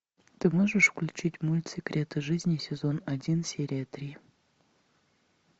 ты можешь включить мульт секреты жизни сезон один серия три